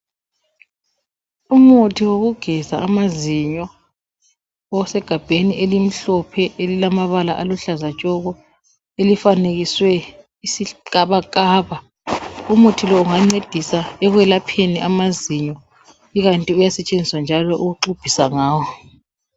Umuthi wokugeza amazinyo, usegabheni elimhlophe elilamabala aluhlaza tshoko, elifanekiswe isigabakaba. Umuthi lo ungacedisa ukwelapheni amazinyo, ikanti uyasetshenziswa ukuqumbisa ngawo